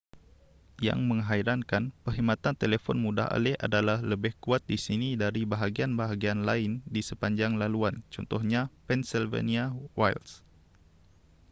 yang menghairankan perkhidmatan telefon mudah alih adalah lebih kuat di sini dari bahagian-bahagian lain di sepanjang laluan contohnya pennsylvania wilds